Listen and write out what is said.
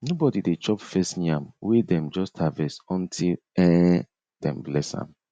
nobody dey chop first yam wey dem just harvest until um dem bless am